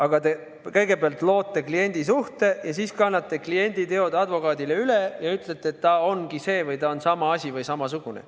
Aga teie kõigepealt loote kliendisuhte ja siis kannate kliendi teod advokaadile üle ning ütlete, et ta on samasugune.